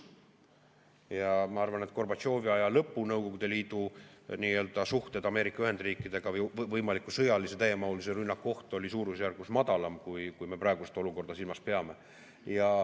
Ja ma arvan, et Gorbatšovi aja lõpu Nõukogude Liidu suhted Ameerika Ühendriikidega ja võimaliku sõjalise täiemahulise rünnaku oht oli suurusjärgus väiksem, kui me praegust olukorda silmas peame.